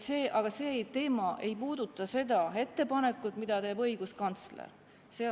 Aga see ei puuduta seda ettepanekut, mille on teinud õiguskantsler.